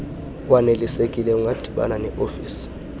waneliseke ungadibana neofisi